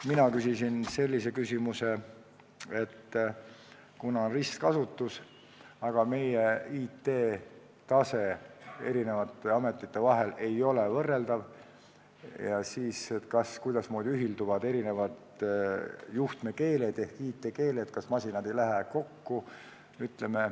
Mina küsisin sellise küsimuse, et kuna on ristkasutus, aga eri ametite infotehnoloogiline tase ei ole võrreldav, siis kuidas ühilduvad eri juhtmekeeled ehk IT-keeled, kas masinad ei jookse kokku.